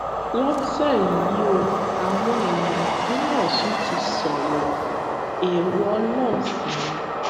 lọtẹ um yìí ó àwọn èèyàn ìpínlẹ ọsùn ti sọrọ èrò um ọlọrun sí ni